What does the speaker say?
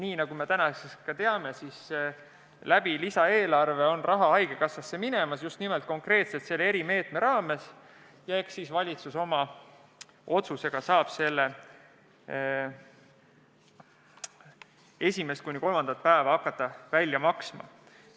Nii nagu me nüüdseks teame, saab haigekassa raha lisaeelarvest, just nimelt konkreetselt selle erimeetme raames, ja eks siis valitsus saab oma otsusega hakata esimest kuni kolmandat haiguspäeva välja maksma.